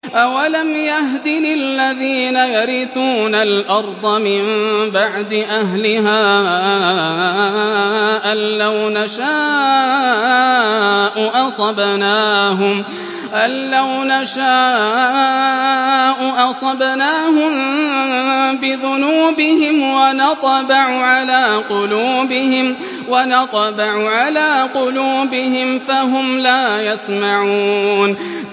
أَوَلَمْ يَهْدِ لِلَّذِينَ يَرِثُونَ الْأَرْضَ مِن بَعْدِ أَهْلِهَا أَن لَّوْ نَشَاءُ أَصَبْنَاهُم بِذُنُوبِهِمْ ۚ وَنَطْبَعُ عَلَىٰ قُلُوبِهِمْ فَهُمْ لَا يَسْمَعُونَ